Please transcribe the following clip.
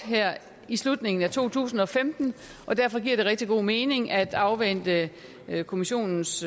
her i slutningen af to tusind og femten og derfor giver det rigtig god mening at afvente kommissionens